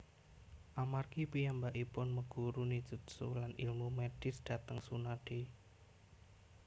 Amargi piyambakipun meguru ninjutsu lan ilmu medis dhateng Tsunade